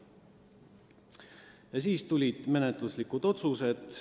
Ja siis tulid menetluslikud otsused.